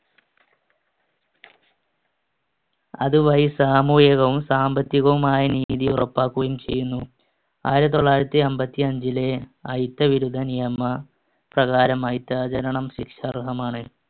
അതുവഴി സാമൂഹികവും സാമ്പത്തികവുമായ നീതി ഉറപ്പാക്കുകയും ചെയ്യുന്നു. ആയിരത്തിത്തൊള്ളായിരത്തി അമ്പത്തിയഞ്ചിലെ അയിത്തവിരുദ്ധ നിയമപ്രകാരം അയിത്താചരണം ശിക്ഷാർഹമാണ്.